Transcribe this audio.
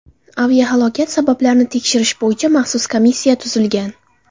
Aviahalokat sabablarini tekshirish bo‘yicha maxsus komissiya tuzilgan.